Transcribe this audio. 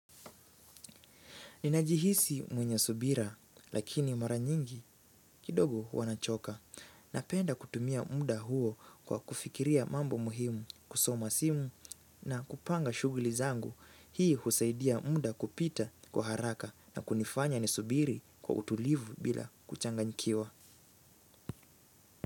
Ninajihisi mwenye subira lakini mara nyingi kidogo wanachoka na penda kutumia muda huo kwa kufikiria mambo muhimu kusoma simu na kupanga shuguli zangu hii husaidia muda kupita kwa haraka na kunifanya ni subiri kwa utulivu bila kuchanganyikiwa.